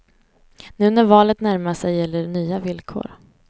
Nu när valet närmar sig gäller nya villkor.